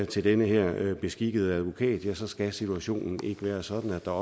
til den her beskikkede advokat er staten så skal situationen ikke være sådan at der